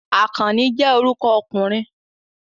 Akanni je oruko okunrin